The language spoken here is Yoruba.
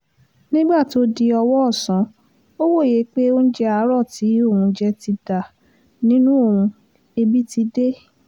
nígbà tó di ọwọ́ ọ̀sán ó wòye pé oúnjẹ àárò tí òun jẹ ti dà nínú òun ẹbí ti dé